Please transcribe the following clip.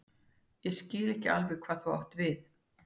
Ég skil ekki alveg hvað þú átt við.